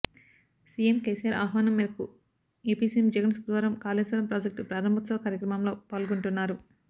CM KCR ఆహ్వానం మేరకు AP CM Jagan శుక్రవారం కాళేశ్వరం ప్రాజెక్టు ప్రారంభోత్సవ కార్యక్రమంలో పాల్గొంటున్నారు